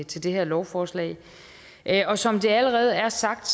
til det her lovforslag og som det allerede er sagt